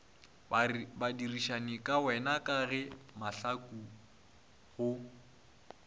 badirišanikawena ka ge mahlaku go